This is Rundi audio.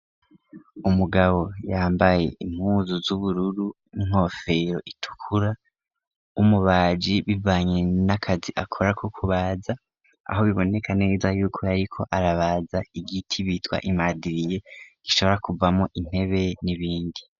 Umugabo yambaye impuzu zubururu n'inkofero itukura w'umubaji bivanye nakazi akora ko kubaza Aho biboneka neza yuko yariko arabaza igiti bitwa imadiriye gishobora kuvamwo intebe n'ibindi.